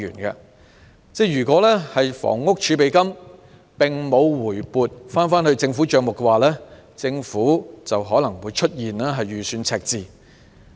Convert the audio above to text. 如果房屋儲備金並無回撥政府帳目的話，政府就可能會出現預算赤字。